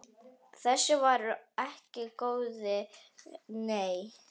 Þessu var ekki lokið, nei.